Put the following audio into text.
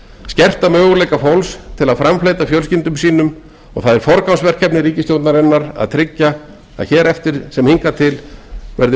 skerta möguleika fólks til að framfleyta fjölskyldum sínum og það er forgangsverkefni ríkisstjórnarinnar að tryggja að hér verði eftir sem áður